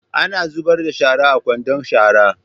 Ana zubar da shara a kwandon shara.